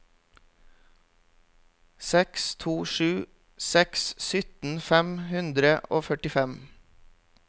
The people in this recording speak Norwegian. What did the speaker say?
seks to sju seks sytten fem hundre og førtifem